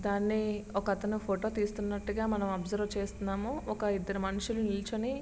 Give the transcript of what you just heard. దాని ఒక అతను ఫోటో తీస్తున్నటుగా మనము ఒబ్సెర్వె చేస్తున్నాము. ఒక ఇద్దరు మనుషులు నీచోని --